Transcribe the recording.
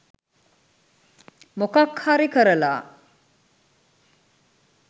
මොකක් හරි කරලා